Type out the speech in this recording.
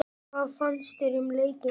Hvað fannst þér um leikinn?